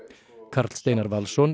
Karl Steinar Valsson